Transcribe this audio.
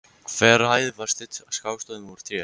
Hver hæð var studd skástoðum úr tré.